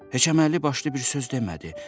Heç əməlli başlı bir söz demədi.